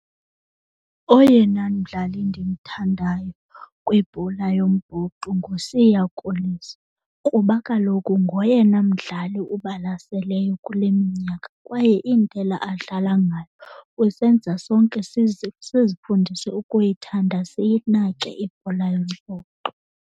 Oyena mdlali ndimthandayo kwibhola yombhoxo nguSiya Kolisi kuba kaloku ngoyena mdlali ubalaseleyo kule minyaka kwaye indlela adlala ngayo usenza sonke sizifundise ukuyithanda siyinake ibhola yombhoxo.